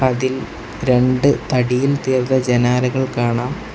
അതിൽ രണ്ട് തടിയിൽ തീർത്ത ജനാലകൾ കാണാം.